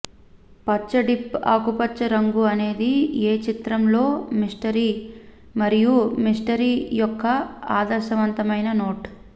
పచ్చ డీప్ ఆకుపచ్చ రంగు అనేది ఏ చిత్రం లో మిస్టరీ మరియు మిస్టరీ యొక్క ఆదర్శవంతమైన నోట్